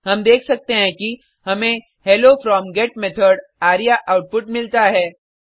हम देख सकते हैं कि हमें hello from get method our output मिला है